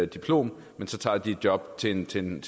diplom men så tager de et job til en til en